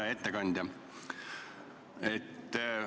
Hea ettekandja!